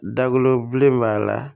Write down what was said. Dagolo bilen b'a la